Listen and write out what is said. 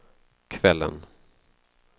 kvällen